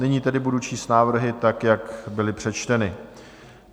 Nyní tedy budu číst návrhy tak, jak byly přečteny.